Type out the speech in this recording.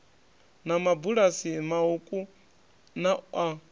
na mabulasi mauku na a